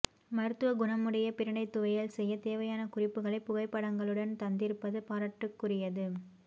மருத்துவ குணமுடைய பிரண்டை துவையல் செய்யத் தேவையான குறிப்புகளை புகைப்படங்களுடன் தந்திருப்பது பாரட்டுக்குரியது